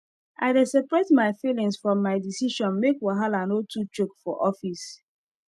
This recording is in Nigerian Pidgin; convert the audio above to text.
i dey separate my feelings from my decision make wahala no too choke for office